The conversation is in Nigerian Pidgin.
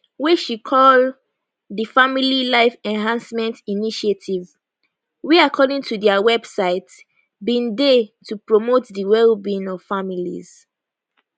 wey she call di family life enhancement initiative wey according to dia website bin dey to promote di well being of families